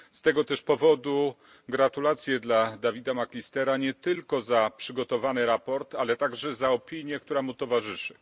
Z tego też powodu gratulacje dla Davida McAllistera, nie tylko za przygotowany raport, ale także za opinię, która mu towarzyszy.